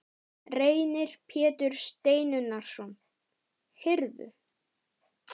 Reynir Pétur Steinunnarson: Heyrðu?